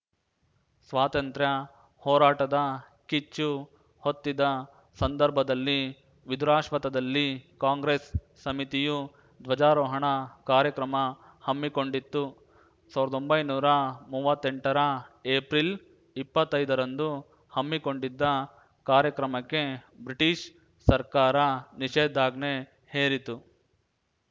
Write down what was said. ಸ್ವಾತಂತ್ರ್ಯ ಹೋರಾಟದ ಕಿಚ್ಚು ಹೊತ್ತಿದ್ದ ಸಂದರ್ಭದಲ್ಲಿ ವಿಧುರಾಶ್ವತ್ಥದಲ್ಲಿ ಕಾಂಗ್ರೆಸ್‌ ಸಮಿತಿಯು ಧ್ವಜಾರೋಹಣ ಕಾರ್ಯಕ್ರಮ ಹಮ್ಮಿಕೊಂಡಿತ್ತು ಸಾವ್ರ್ದೊಂಬೈ ನೂರಾ ಮೂವತ್ತೆಂಟರ ಏಪ್ರಿಲ್ ಇಪ್ಪತ್ತೈದರಂದು ಹಮ್ಮಿಕೊಂಡಿದ್ದ ಕಾರ್ಯಕ್ರಮಕ್ಕೆ ಬ್ರಿಟಿಷ್‌ ಸರ್ಕಾರ ನಿಷೇಧಾಜ್ಞೆ ಹೇರಿತು